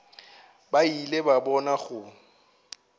ba ile ba bona go